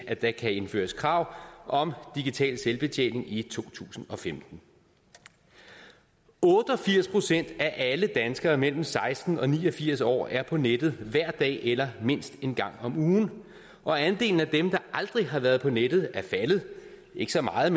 at der kan indføres krav om digital selvbetjening i to tusind og femten otte og firs procent af alle danskere mellem seksten og ni og firs år er på nettet hver dag eller mindst en gang om ugen og andelen af dem der aldrig har været på nettet er faldet ikke så meget